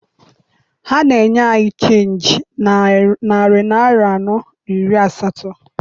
Ha na-enye anyị chenji narị naịra anọ na iri asatọ.